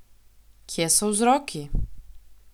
Kje so vzroki?